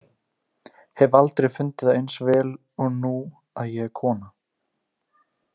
Hef aldrei fundið það eins vel og nú að ég er kona.